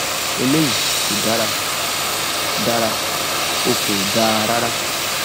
eléyìí kò dára dára o kò dáa rárá